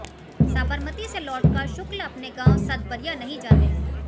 साबरमती से लौटकर शुक्ल अपने गांव सतबरिया नहीं जाते हैं